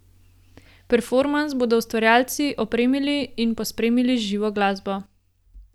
Performans bodo ustvarjalci opremili in pospremili z živo glasbo.